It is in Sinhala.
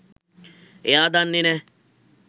එයා දන්නේ නෑ